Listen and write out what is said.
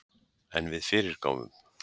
En við fyrirgáfum